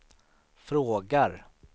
frågar